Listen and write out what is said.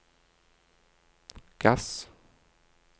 gass